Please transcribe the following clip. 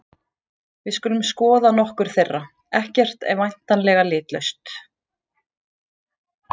Við skulum skoða nokkur þeirra: Ekkert er væntanlega litlaust.